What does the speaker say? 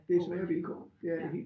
Gå rundt ja